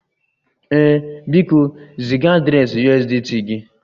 Ee, biko ziga adreesị USDT gị